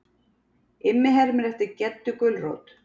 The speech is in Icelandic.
Immi hermir eftir Geddu gulrót.